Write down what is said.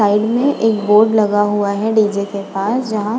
Side में एक board लगा हुआ है डी.जे. के पास जहाँ --